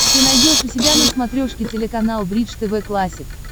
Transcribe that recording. ты найдешь у себя на смотрешке телеканал бридж тв классик